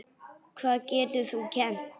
Hvað getur þú kennt?